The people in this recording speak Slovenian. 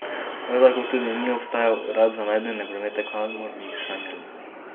Prav tako tudi ni obstajal urad za najdene predmete, kamor bi jih shranili.